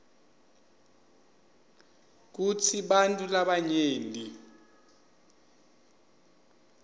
kutsi bantfu labanyenti